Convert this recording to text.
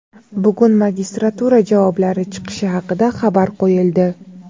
Bugun magistratura javoblari chiqishi haqida xabar qo‘yildi.